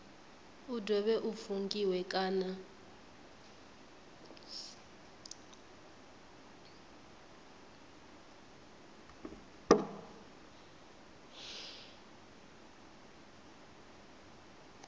u dovhe u fungiwe kana